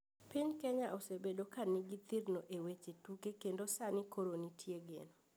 Piny kenya osebedo ka ni gi thirno e weche tuke kendo sani koro nitie geno .